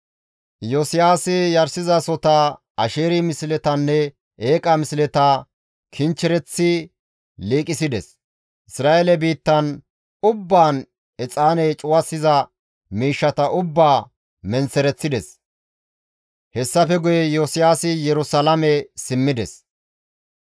Iyosiyaasi yarshizasohota, Asheeri misletanne eeqa misleta kinchchereththi liiqisides; Isra7eele biittan ubbaan exaane cuwasiza miishshata ubbaa menththereththides; hessafe guye Iyosiyaasi Yerusalaame simmides.